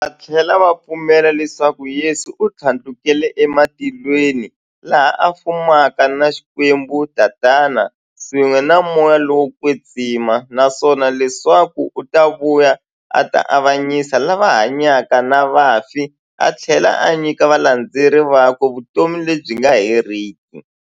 Vathlela va pfumela leswaku Yesu u thlandlukele e matilweni, laha a fumaka na Xikwembu-Tatana, swin'we na Moya lowo kwetsima, naswona leswaku u ta vuya a ta avanyisa lava hanyaka na vafi athlela a nyika valandzeri vakwe vutomi lebyi nga heriki.